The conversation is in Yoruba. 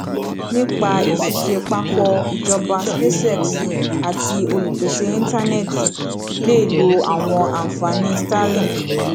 nípa ìṣiṣẹ papọ ìjọba spacex àti olúpésé ìntánẹti lè lo àwọn ànfàní starlink